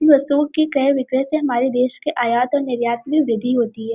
क्रय विक्रय से हमारे देश के आयात और निर्यात में वृद्धि होती है।